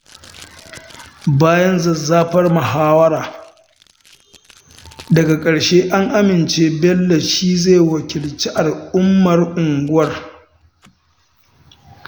Bayan zazzafar muhawara, daga ƙarshe an amince Bello shi zai wakilci al'ummar unguwar